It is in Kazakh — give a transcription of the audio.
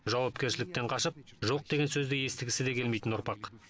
жауапкершіліктен қашып жоқ деген сөзді естігісі де келмейтін ұрпақ